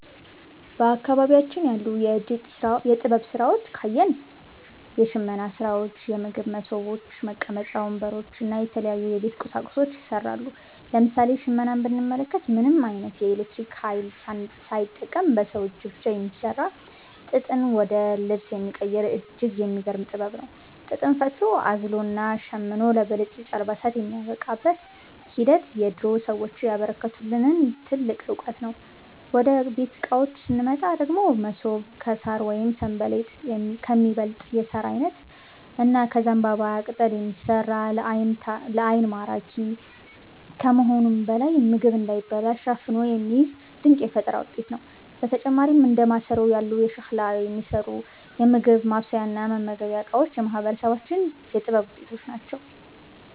በአካባቢያችን ያሉ የጥበብ ሥራዎችን ካየን፣ የሽመና ሥራዎች፣ የምግብ መሶቦች፣ መቀመጫ ወንበሮች እና የተለያዩ የቤት ቁሳቁሶች ይሠራሉ። ለምሳሌ ሽመናን ብንመለከት፣ ምንም ዓይነት የኤሌክትሪክ ኃይል ሳይጠቀም በሰው እጅ ብቻ የሚሠራ፣ ጥጥን ወደ ልብስ የሚቀይር እጅግ የሚገርም ጥበብ ነው። ጥጥን ፈትሎ፣ አዝሎና ሸምኖ ለብልጭልጭ አልባሳት የሚያበቃበት ሂደት የድሮ ሰዎች ያበረከቱልን ትልቅ ዕውቀት ነው። ወደ ቤት ዕቃዎች ስንመጣ ደግሞ፣ መሶብ ከሣር ወይም 'ሰንበሌጥ' ከሚባል የሣር ዓይነት እና ከዘንባባ ቅጠል የሚሠራ፣ ለዓይን ማራኪ ከመሆኑም በላይ ምግብ እንዳይበላሽ አፍኖ የሚይዝ ድንቅ የፈጠራ ውጤት ነው። በተጨማሪም እንደ ማሰሮ ያሉ ከሸክላ የሚሠሩ የምግብ ማብሰያና መመገቢያ ዕቃዎችም የማህበረሰባችን የጥበብ ውጤቶች ናቸው።